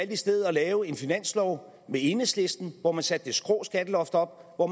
i stedet at lave en finanslov med enhedslisten hvor man satte det skrå skatteloft op og